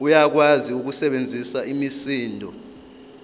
uyakwazi ukusebenzisa imisindo